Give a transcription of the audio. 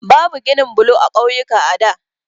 Babu ginin blo a ƙauyuka a da.